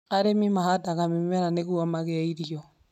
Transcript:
Arĩmi mahandaga mĩmera nĩgũo magĩe irio.